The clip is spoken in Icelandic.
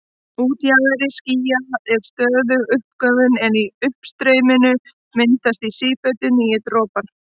Í útjaðri skýja er stöðug uppgufun en í uppstreyminu myndast í sífellu nýir dropar.